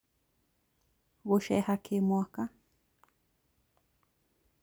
Gũceeha kĩ mwaka